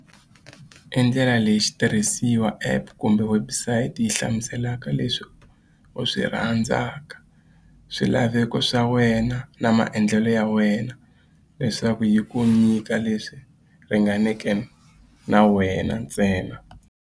I ndlela leyi xitirhisiwa, app kumbe website yi hlamuselaka leswi u swi rhandzaka swilaveko swa wena na maendlelo ya wena leswaku yi ku nyika leswi ringaneke na wena ntsena.